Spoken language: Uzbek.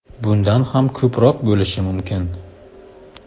Bundan ham ko‘proq bo‘lishi mumkin.